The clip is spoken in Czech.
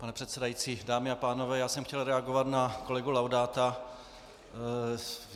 Pane předsedající, dámy a pánové, já jsem chtěl reagovat na kolegu Laudáta.